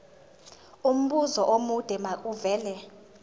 umbuzo omude makuvele